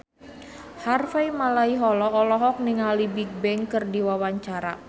Harvey Malaiholo olohok ningali Bigbang keur diwawancara